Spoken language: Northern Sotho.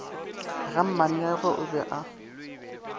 ga mmaneagwe o be a